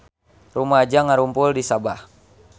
Rumaja ngarumpul di Sabah